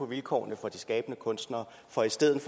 vilkårene for de skabende kunstnere for i stedet